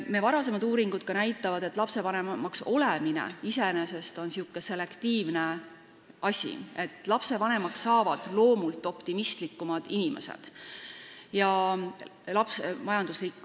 Meie varasemad uuringud näitavad, et lapsevanemaks olemine iseenesest on selektiivne asi, lapsevanemaks saavad loomult optimistlikumad inimesed.